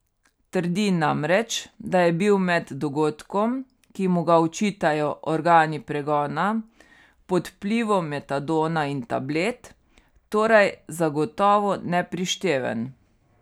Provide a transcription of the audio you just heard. Trdi namreč, da je bil med dogodkom, ki mu ga očitajo organi pregona, pod vplivom metadona in tablet, torej zagotovo neprišteven.